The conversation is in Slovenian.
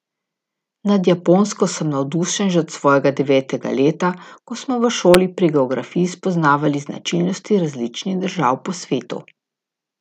Nad Japonsko sem navdušen že od svojega devetega leta, ko smo v šoli pri geografiji spoznavali značilnosti različnih držav po svetu.